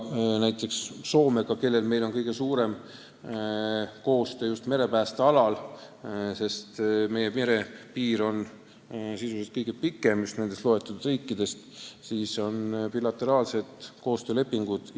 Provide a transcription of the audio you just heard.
Näiteks Soomega, kellega meil on kõige suurem koostöö just merepääste alal, sest meie ühine merepiir on loetletud riikidest kõige pikem, on meil bilateraalsed koostöölepingud.